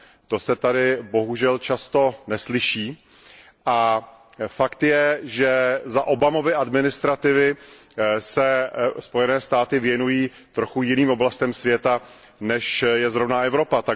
To se tady bohužel často neslyší a fakt je, že za Obamovy administrativy se Spojené státy věnují trochu jiným oblastem světa, než je zrovna Evropa.